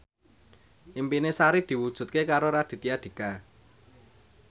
impine Sari diwujudke karo Raditya Dika